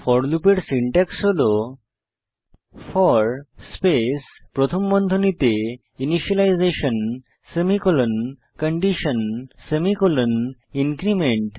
four লুপের syntax হল for space প্রথম বন্ধনীতে initialisation semicolon condition semicolon increment